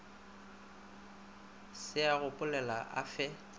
se a gopolega a fe